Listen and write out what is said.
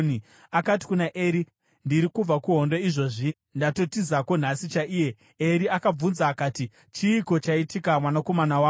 Akati kuna Eri, “Ndiri kubva kuhondo izvozvi; ndatotizako nhasi chaiye.” Eri akabvunza akati, “Chiiko chaitika mwanakomana wangu?”